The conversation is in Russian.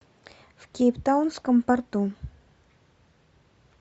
в кейптаунском порту